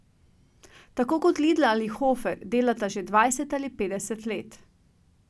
Tako kot Lidl ali Hofer delata že dvajset ali petdeset let.